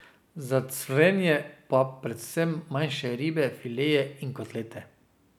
Za cvrenje pa predvsem manjše ribe, fileje in kotlete.